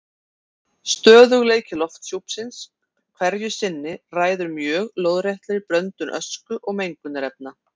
Stöðugleiki lofthjúpsins hverju sinni ræður mjög lóðréttri blöndun ösku og mengunarefna.